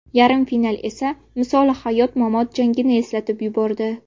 Yarim final esa misoli hayot-mamot jangini eslatib yubordi.